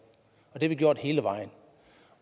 og det har vi gjort hele vejen